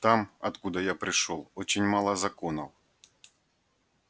там откуда я пришёл очень мало законов